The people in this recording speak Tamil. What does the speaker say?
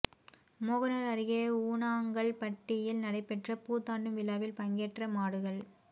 மோகனூா் அருகே ஊனாங்கல்பட்டியில் நடைபெற்ற பூ தாண்டும் விழாவில் பங்கேற்ற மாடுகள்